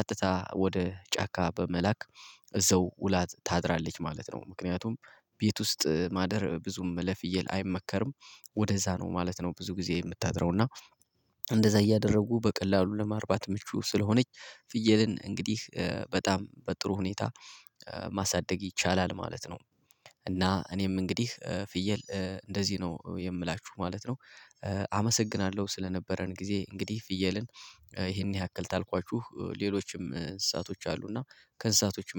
ቀጥታ ወደ ጫካ በመላክ እዛው ውላ ታድራለች ማለት ነው። ምክንያቱም ቤት ውስጥ ማደር ብዙም ለፍየል አይመከርም። ወደዛ ነው ማለት ነው። ብዙ ጊዜ የምታድረው እና እንደዛ እያደረጉ በቀላሉ ለማርባት ምቹ ስለሆነች። ፍየልን እንግዲህ በጣም በጥሩ ሁኔታ ማሳደግ ይቻላል ማለት ነው። እና እኔም እንግዲህ ፍየል እንደዚህ ነው የምላችሁ ማለት ነው። አመሰግናለሁ ስለነበረን ጊዜ እንግዲህ ፍየልን ይሄን ያክል ታልኳችሁ ሌሎችም እንስሳቶች አሉ። እና ከንስሳቶች